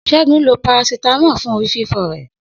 Segun lo Parasítámọ̀ fún orí fífọ́ rẹ̀